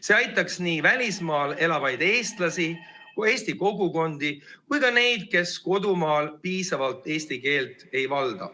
See aitaks nii välismaal elavaid eestlasi, eesti kogukondi kui ka neid, kes kodumaal piisavalt eesti keelt ei valda.